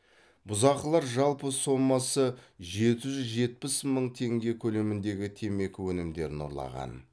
бұзақылар жалпы сомасы жеті жүз жетпіс мың теңге көлеміндегі темекі өнімдерін ұрлаған